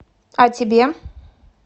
а тебе